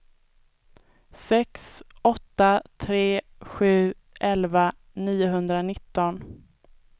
sex åtta tre sju elva niohundranitton